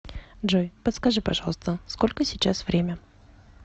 джой подскажи пожалуйста сколько сейчас время